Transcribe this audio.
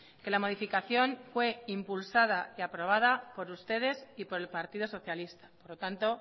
que la modificación fue impulsada y aprobada por ustedes y por el partido socialista por lo tanto